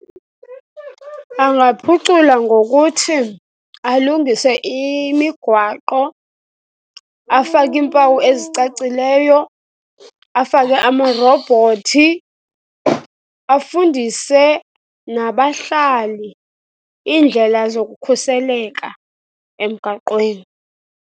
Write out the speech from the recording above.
Angaphucula ngokuthi alungise imigwaqo, afake iimpawu ezicacileyo, afake amarobhothi, afundise nabahlali iindlela zokukhuseleka emgaqweni.